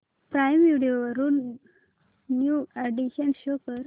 prime Video वरील new additions show कर